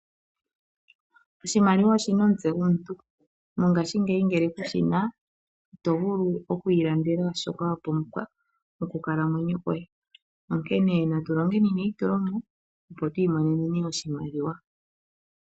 Oshimaliwa oshina omutse gomuntu. Mongashingeyi ngele kushina ito vulu oku ilandela shoka wapumbwa mokukalamwenyo koye, onkene natulongeni neyitulomo opo twi imonene oshimaliwa.